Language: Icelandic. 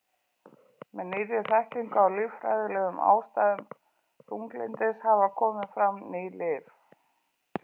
Með nýrri þekkingu á líffræðilegum ástæðum þunglyndis hafa komið fram ný lyf.